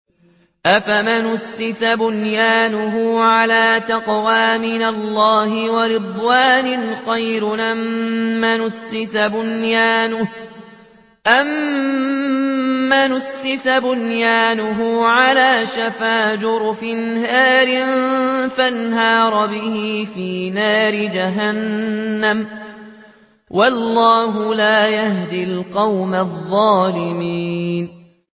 أَفَمَنْ أَسَّسَ بُنْيَانَهُ عَلَىٰ تَقْوَىٰ مِنَ اللَّهِ وَرِضْوَانٍ خَيْرٌ أَم مَّنْ أَسَّسَ بُنْيَانَهُ عَلَىٰ شَفَا جُرُفٍ هَارٍ فَانْهَارَ بِهِ فِي نَارِ جَهَنَّمَ ۗ وَاللَّهُ لَا يَهْدِي الْقَوْمَ الظَّالِمِينَ